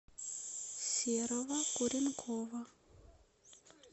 серого куренкова